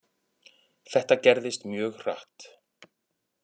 Þetta gerðist mjög hratt.